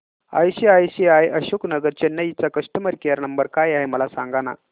ICICI Ashok Nagar Chennai चा customer care number काय आहे मला सांगाना